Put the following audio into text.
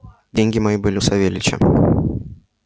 деньги мои были у савельича